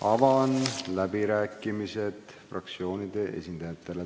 Avan läbirääkimised fraktsioonide esindajatele.